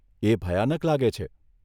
એ ભયાનક લાગે છે.